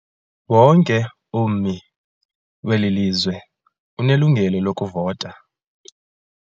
Wonke ummi weli lizwe unelungelo lokuvota.